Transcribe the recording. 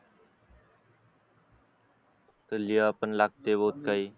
लिहा पण लागते बहुत काही